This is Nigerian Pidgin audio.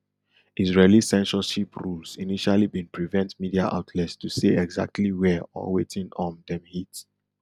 israeli censorship rules initially bin prevent media outlets to say exactly wia or wetin um dem hit